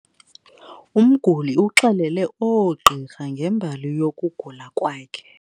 Umguli uxelele oogqirha ngembali yokugula kwakhe.